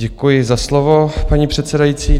Děkuji za slovo, paní předsedající.